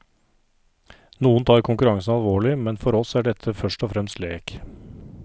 Noen tar konkurransen alvorlig, men for oss er dette først og fremst lek.